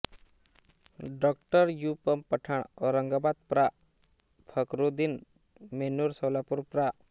डॉ U म पठाण औरंगाबाद प्रा फकरुद्दीन बेन्नूर सोलापूर प्रा